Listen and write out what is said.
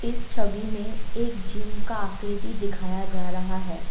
इस छवि में एक जिम का आकृति दिखाया जा रहा है।